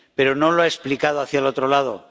Pero no lo ha explicado hacia el otro lado.